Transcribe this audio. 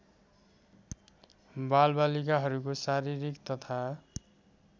बालबालिकाहरूको शारीरिक तथा